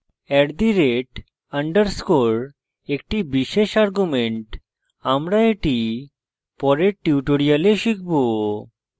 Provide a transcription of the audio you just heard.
@_ একটি বিশেষ আর্গুমেন্ট আমরা এটি পরের tutorials শিখব